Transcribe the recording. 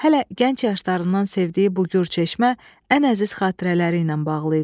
Hələ gənc yaşlarından sevdiyi bu gür çeşmə ən əziz xatirələri ilə bağlı idi.